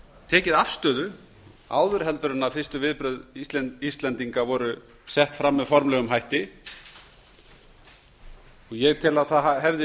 tekið afstöðu áður en fyrstu viðbrögð íslendinga voru sett formlega fram ég tel að það hefði